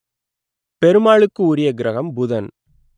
பெருமாளுக்கு உரிய கிரகம் புதன்